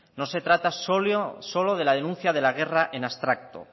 no se trata solo de la denuncia de la guerra en abstracto